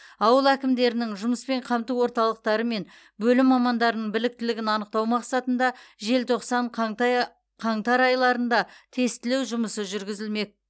ауыл әкімдерінің жұмыспен қамту орталықтары мен бөлім мамандарының біліктілігін анықтау мақсатында желтоқсан қантай қаңтар айларында тестілеу жұмысы жүргізілмек